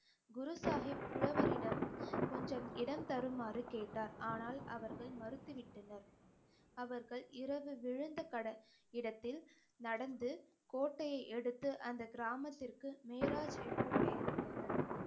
குரு சாஹிப் புலவரிடம் கொஞ்சம் இடம் தருமாறு கேட்டார் ஆனால் அவர்கள் மறுத்து விட்டனர் அவர்கள் இரவு விழுந்த கட~ இடத்தில் நடந்து கோட்டையை எடுத்து அந்த கிராமத்திற்கு மிஃராஜ் என்று பெயரிட்டனர்